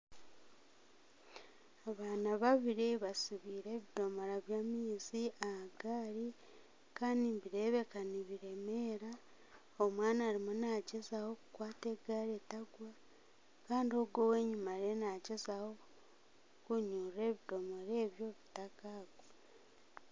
Abaana babiri basibire ebidomora by'amaizi aha gaarii Kandi nibireebeka nibiremeera omwana ariyo nagyezaho kukwata egaari etagwa Kandi owenyima nagyezaho kunyurira ebidomora ebyo bitakagwa